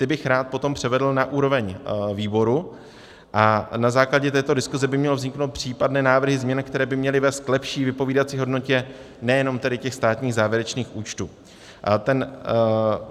Ty bych rád potom převedl na úroveň výboru a na základě této diskuze by měly vniknout případné návrhy změn, které by měly vést k lepší vypovídací hodnotě nejenom tedy těch státních závěrečných účtů.